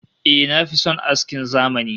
Eh, na fi son askin zamani